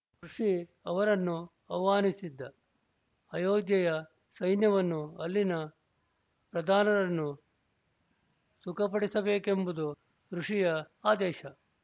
ಋಷಿ ಅವರನ್ನು ಆಹ್ವಾನಿಸಿದ್ದ ಅಯೋಧ್ಯೆಯ ಸೈನ್ಯವನ್ನು ಅಲ್ಲಿನ ಪ್ರಧಾನರನ್ನು ಸುಖಪಡಿಸಬೇಕೆಂಬುದು ಋಷಿಯ ಆದೇಶ